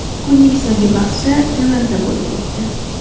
Kunning so‘nggi bahsi Milanda bo‘lib o‘tdi.